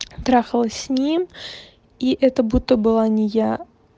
трахалась с ним и это будто была не я